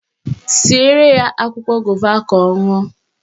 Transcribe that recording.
Siere ya akwụkwọ gova ka ọ ṅụọ